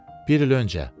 Bir il öncə.